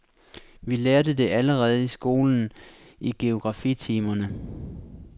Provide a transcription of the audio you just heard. Vi lærte det allerede i skolen, i geografitimerne.